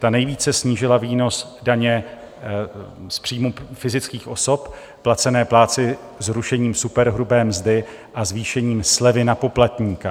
Ta nejvíce snížila výnos daně z příjmů fyzických osob placené plátci zrušením superhrubé mzdy a zvýšením slevy na poplatníka.